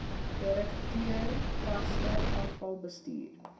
direkteur vaste afvalbestuur